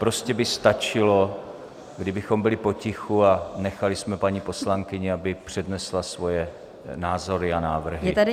Prostě by stačilo, kdybychom byli potichu a nechali jsme paní poslankyni, aby přednesla svoje názory a návrhy.